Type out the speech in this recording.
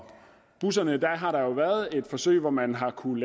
busserne har der været et forsøg hvor man har kunnet